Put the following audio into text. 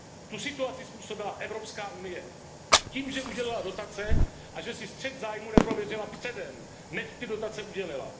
Tu situaci způsobila Evropská unie tím, že udělila dotace a že si střet zájmů neprověřila předem, než ty dotace udělila.